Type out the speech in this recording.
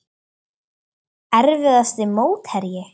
Erfiðasti mótherji?